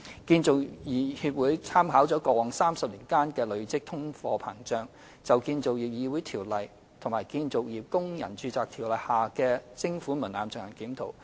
建造業議會參考過去30年間的累積通貨膨脹，就《建造業議會條例》及《建造業工人註冊條例》下的徵款門檻進行檢討。